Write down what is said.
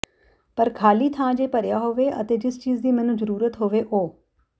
ਪਰ ਖਾਲੀ ਥਾਂ ਜੇ ਭਰਿਆ ਹੋਵੇ ਅਤੇ ਜਿਸ ਚੀਜ਼ ਦੀ ਮੈਨੂੰ ਜ਼ਰੂਰਤ ਹੋਵੇ ਉਹ